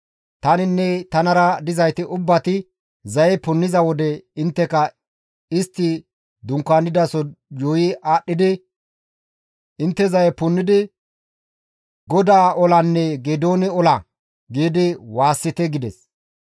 Taninne tanara dizayti ubbati zaye punniza wode intteka istti dunkaanidaso yuuyi aadhdhidi intte zaye punnidi, ‹GODAA olanne Geedoone ola!› giidi waassite» gides.